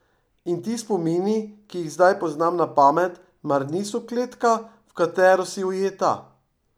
In ti spomini, ki jih zdaj poznam na pamet, mar niso kletka, v katero si ujeta?